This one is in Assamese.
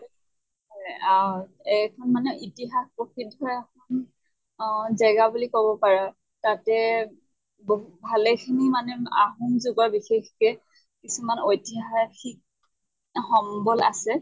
হয় আহ এইখন মানে ইতিহাস প্ৰসিদ্ধ জেগা বুলি কʼব পাৰে। তাতে বহুত ভালে খিনি মানে আহোম যুগৰ বিশেষকে কিছুমান ঐতিহাসিক সম্বল আছে